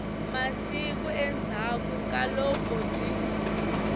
masiku endzhaku ka loko byi